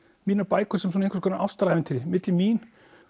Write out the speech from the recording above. mínar bækur sem einhvers konar ástarævintýri milli mín